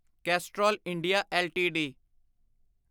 cholesterol India LTD